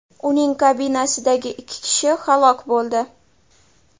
Uning kabinasidagi ikki kishi halok bo‘ldi.